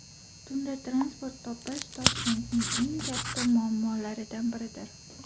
Tunda transport topish Toshkentning eng katta muammolaridan biridir.